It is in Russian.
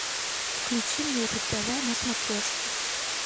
включи мне ру тв на смотрешке